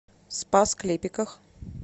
спас клепиках